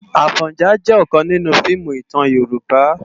Afònjá jè òkán ninú fiimú itán Yoruba